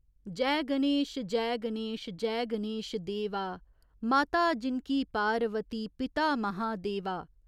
जै गणेश, जै गणेश जै गणेश देवा, माता जिनकी पारवती पिता महादेवा।